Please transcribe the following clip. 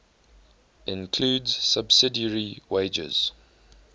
includes subsidiary wagers